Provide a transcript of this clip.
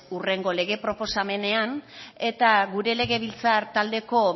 hurrengo lege proposamenean eta gure legebiltzar taldeko